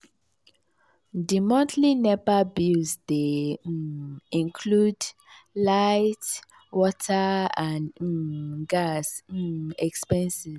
di monthly nepa bills dey um include light water and um gas um expenses.